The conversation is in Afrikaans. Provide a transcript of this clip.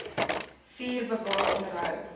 vier bewaar onderhou